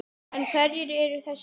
En hverjir eru þessir strákar?